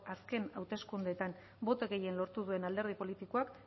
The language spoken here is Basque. azken hauteskundeetan boto gehien lortu duen alderdi politikoak